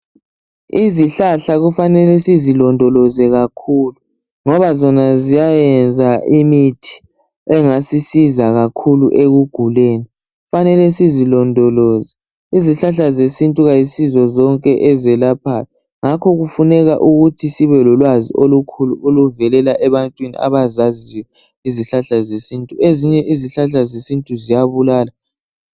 Izihlahla kufanele sizilondoloze kakhulu ngoba zona ziyayenza imithi engasisiza kakhulu ekuguleni kufanele sizilondoloze izihlahla zesintu asizo zonke ezelaphayo ngakho kufuneka ukuthi sibe lolwazi olukhulu oluvelela ebantwini abazaziyo izihlahla zesintu ezinye izihlahla zesintu ziyabulala.